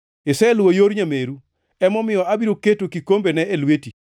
Iseluwo yor nyameru; emomiyo abiro keto kikombene e lweti.